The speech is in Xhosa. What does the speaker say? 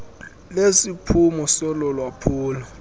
lesiphumo solo lwaphulo